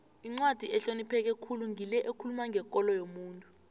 incwadi ehlonipheke khulu ngile ekhuluma ngekolo yomuntu